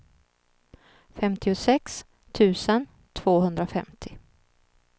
femtiosex tusen tvåhundrafemtio